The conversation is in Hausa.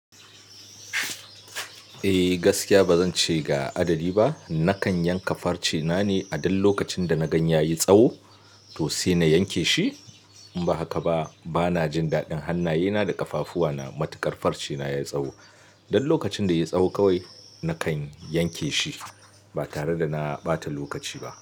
Eh gaskiya bazan ce ga adadi ba. Nakan yanka farce na ne a dan lokacin da na gan ya yi tsawo to sai na yanke shi. In ba haka ba bana jin daɗin hannaye na da ƙafafuwa na matuƙar farce na ya yi tsawo. Dan lokacin da ya yi tsawo kawai nakan yanke shi ba tare da na ɓata lokaci ba.